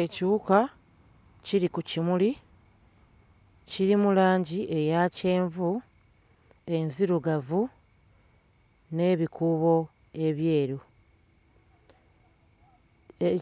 Ekiwuka kiri ku kimuli. Kirimu langi eya kyenvu, enzirugavu n'ebikuubo ebyeru.